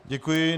Děkuji.